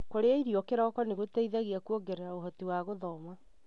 Kũrĩa irio kĩroko nĩgũteithagia kũongerera ũhoti wa gũthoma.